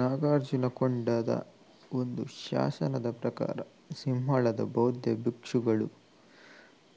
ನಾಗಾರ್ಜುನಕೊಂಡದ ಒಂದು ಶಾಸನದ ಪ್ರಕಾರ ಸಿಂಹಳದ ಬೌದ್ಧ ಭಿಕ್ಷುಗಳು